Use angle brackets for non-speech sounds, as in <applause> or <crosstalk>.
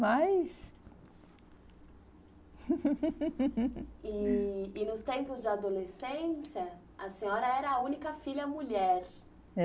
Mas... <laughs> E e nos tempos de adolescência, a senhora era a única filha mulher.